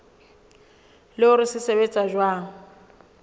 le hore se sebetsa jwang